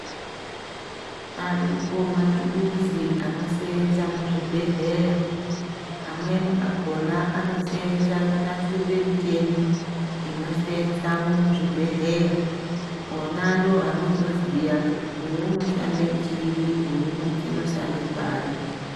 Aripo matulusi anosenza muzvibhedleya, amweni akona anosenza kunasire mchini inosenza mumuzvibhedleya ,wona ndoanozoziya kuti uyu unoshande chiri uyu uoshande pari.